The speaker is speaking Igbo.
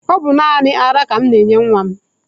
Ọ bụ naanị ara ka mụ na-enye nwa m.